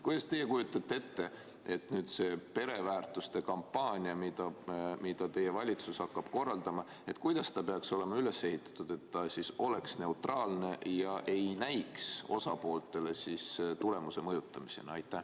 Kuidas te ette kujutate, et kui nüüd tuleb see pereväärtuste kampaania, mida teie valitsus hakkab korraldama, siis kuidas see peaks olema üles ehitatud, et ta oleks neutraalne ega näiks osapooltele tulemuse mõjutamisena?